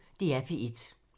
DR P1